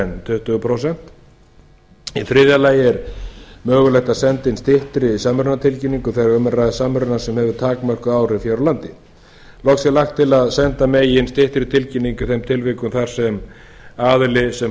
en tuttugu prósent í þriðja lagi er mögulegt að senda inn styttri samrunatilkynningu þegar um er að hvað samruna sem hefur takmörkuð áhrif hér á landi loks er lagt til að senda megi inn styttri tilkynningar í þeim tilvikum þar sem aðili sem